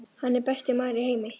Hann er besti maður í heimi.